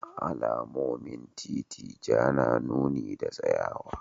A alamomin titi Ja na nuni da tsayawa.